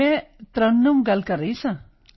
ਮੈਂ ਤਰੱਨੁਮ ਗੱਲ ਕਰ ਰਹੀ ਹਾਂ